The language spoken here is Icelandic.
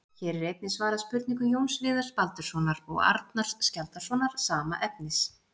Hér er einnig svarað spurningu Jóns Viðars Baldurssonar og Arnars Skjaldarsonar, sama efnis.